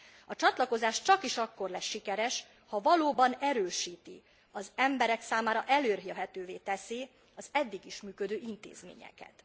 A csatlakozás csakis akkor lesz sikeres, ha valóban erősíti, az emberek számára elérhetővé teszi az eddig is működő intézményeket.